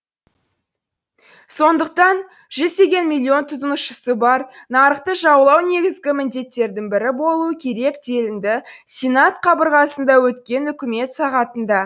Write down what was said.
сондықтан жүздеген миллион тұтынушысы бар нарықты жаулау негізгі міндеттердің бірі болуы керек делінді сенат қабырғасында өткен үкімет сағатында